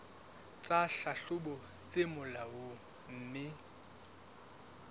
tsa tlhahlobo tse molaong mme